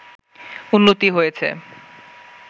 উন্নতি হয়েছে